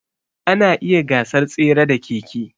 Ana iya gasar tsere da keke.